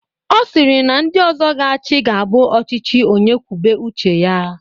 Ọ sịrị na ndị ọzọ ga-achị ga abụ ọchịchị onye kwube uche ya.